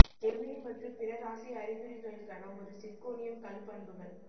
ஜெமினி மற்றும் பிற இராசி அறிகுறிகளுக்கான ஒரு சிர்கோனியம் கல் பண்புகள்